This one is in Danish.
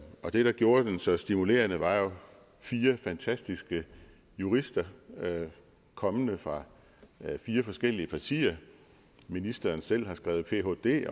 og det der gjorde den så stimulerende var jo fire fantastiske jurister kommende fra fire forskellige partier ministeren selv har skrevet phd